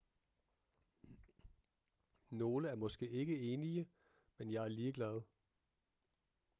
nogle er måske ikke enige men jeg er ligeglad